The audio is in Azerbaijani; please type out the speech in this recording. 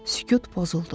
Sükut pozuldu.